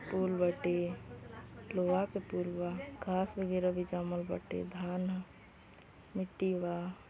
पुल बाटे। लोहा के पुल बा। घास वगेरा भी जामल बाटे। धान ह। मिट्टी बा।